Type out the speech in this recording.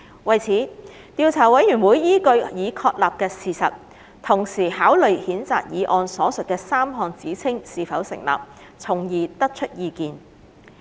為此，調查委員會依據已確立的事實，同時考慮譴責議案所述的3項指稱是否成立，從而得出意見。